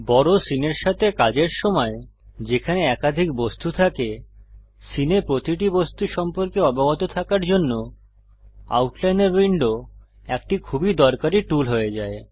বড় সীনের সাথে কাজের সময় যেখানে একাধিক বস্তু থাকে সীনে প্রতিটি বস্তু সম্পর্কে অবগত থাকার জন্য আউটলাইনর উইন্ডো একটি খুবই দরকারী টুল হয়ে যায়